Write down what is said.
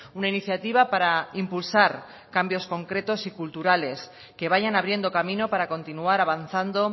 una iniciativa para impulsar cambios concretos y culturales que vayan abriendo camino para continuar avanzando